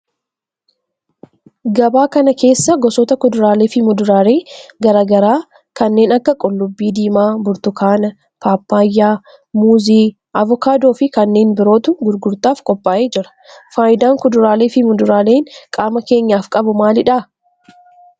Gabaa kana keessa gosoota kuduraalee fi muduraalee garaa garaa kanneen akka qullubbii diimaa, burtukaana, paappayyaa, muuzii, avokaadoo fi kanneen birootu gurgurtaaf qophaa'ee jira. Faayidaan kuduraalee fi muduraaleen qaama keenyaf qabu maalidha?